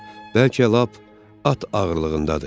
Bəlkə lap at ağırlığındadır.